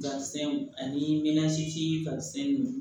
ani